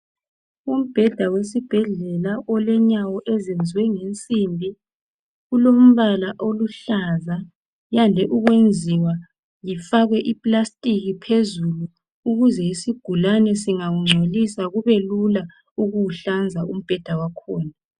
umbheda wesibhedlela olenyawo eziyenwe ngensimbi ulombala oluhlaza uyande ukuyenziwa ufakwe ipilasitiki phezulu ukuze isingawuncolisa kubelula ukuwuhlana umbheda wakhona